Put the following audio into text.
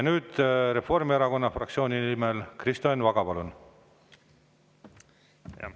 Nüüd Reformierakonna fraktsiooni nimel Kristo Enn Vaga, palun!